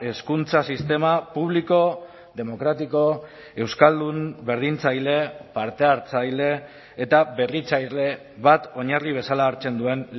hezkuntza sistema publiko demokratiko euskaldun berdintzaile parte hartzaile eta berritzaile bat oinarri bezala hartzen duen